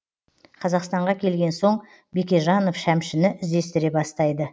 қазақстанға келген соң бекежанов шәмшіні іздестіре бастайды